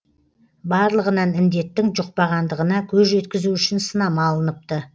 барлығынан індеттің жұқпағандығына көз жеткізу үшін сынама алыныпты